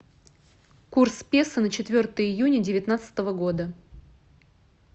курс песо на четвертое июня девятнадцатого года